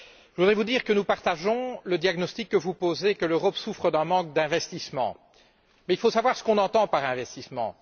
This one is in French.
Je voulais vous dire que nous partageons le diagnostic que vous posez, à savoir que l'Europe souffre d'un manque d'investissements, mais il faut savoir ce que nous entendons par investissements.